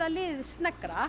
liðið